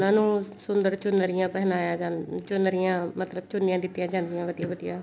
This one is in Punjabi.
ਉਹਨਾ ਨੂੰ ਸੁੰਦਰ ਚੁਨਰੀਆਂ ਪਹਿਨਾਇਆ ਚੁਨਰੀਆਂ ਮਤਲਬ ਚੁੰਨੀਆ ਦਿੱਤੀਆਂ ਜਾਂਦੀਆਂ ਵਧੀਆ ਵਧੀਆ